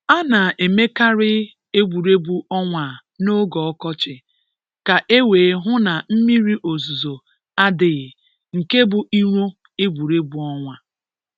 A na-eme karị Egwuregwu ọnwa a n’oge ọkọchị ka e wee hụ na mmiri ozuzo adịghị nke bụ iro egwuregwu ọnwa.